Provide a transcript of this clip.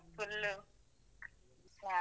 Full.